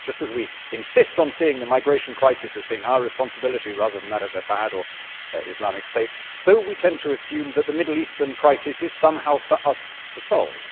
Just as we insist on seeing the migration crisis as being our responsibility, rather than that of Assad or Islamic State, so we tend to assume that the Middle Eastern crisis is somehow for us to solve.